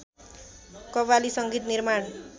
कव्वाली संगीत निर्माण